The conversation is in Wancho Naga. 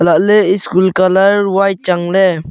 alahley school colour white changley.